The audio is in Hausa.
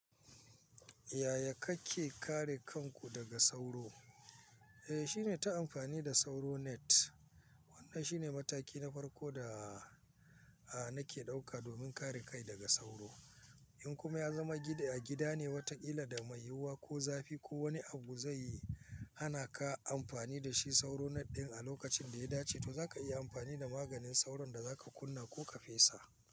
Yaya kake kare kanku daga sauro? Eh, shine ta amfani da sauro net. Ai shine mataki na farko da nake dauka domin kare kai daga sauro in kuma ya zama gida, a gida ne wataƙila da mai yiwuwa ko zafi ko wani abu zai yi, hana ka amfani da shi sauro net ɗin a lokacin da ya dace, to zaka iya amfani da maganin sauron da zaka kunna ko ka fesa.